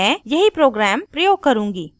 मैं यही program प्रयोग करुँगी